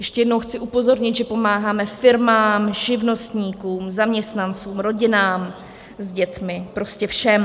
Ještě jednou chci upozornit, že pomáháme firmám, živnostníkům, zaměstnancům, rodinám s dětmi, prostě všem.